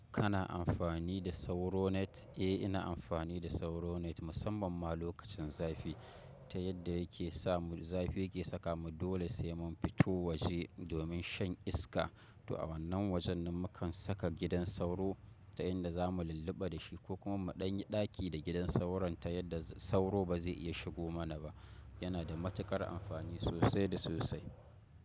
Kana amfani da sauro net? Eh ina amfani da sauro net musamman ma lokacin zafi ta yadda yake sa mu zafi yake saka mu dole sai mun fito waje domin shan iska. To a wannan wajen nan mukan saka gidan sauro ta inda za mu lulluɓa da shi ko kuma mu ɗan yi ɗaki da gidan sauron ta yadda sauro ba zai iya shigo mana ba. Yana da matuƙar amfani sosai da sosai.